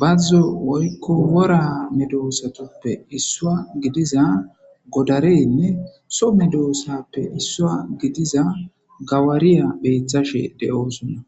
bazzo woykko wora medoosatuppe issua gidiza godareynne so medoossappe issua gidiza gawariya beethashe de7oosonna